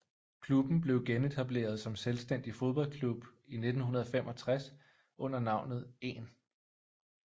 Klubben blev genetableret som selvstændig fodboldklub i 1965 under navnet 1